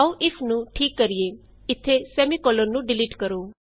ਆਉ ਇਫ ਨੂੰ ਠੀਕ ਕਰੀਏ ਇਥੇ160 ਨੂੰ ਡਿਲੀਟ ਕਰੋ